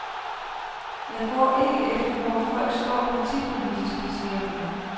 Jeg går ikke efter, hvor folk står partipolitisk, siger hun.